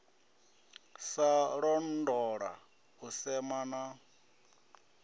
sa londola u sema na